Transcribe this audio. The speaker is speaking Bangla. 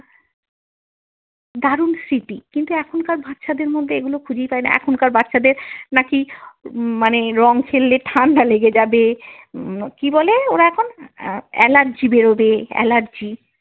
দারুন স্মৃতি কিন্তু এখনকার বাচ্ছাদের মধ্যে এগুলি খুঁজেই পাই না, এখনকার বাচ্ছাদের নাকি উম মানে রঙ খেললে ঠাণ্ডা লেগে যাবে, কি বলে ওরা এখন আহ অ্যালার্জি বেরোবে অ্যালার্জি।